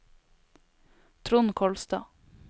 Trond Kolstad